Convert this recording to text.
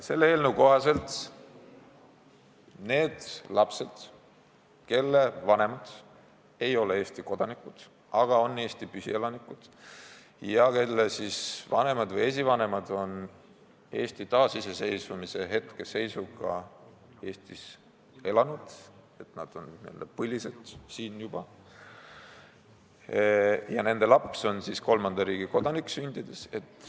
Selle eelnõu kohaselt antakse võimalus nendele lastele, kelle vanemad ei ole Eesti kodanikud, aga on Eesti püsielanikud, ja kelle vanemad või esivanemad on Eesti taasiseseisvumise hetke seisuga siin elanud, s.t nad on siin juba n-ö põlised, ja nende laps on sündides kolmanda riigi kodanik.